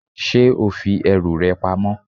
Ṣé o fi ẹrù rẹ pamọ?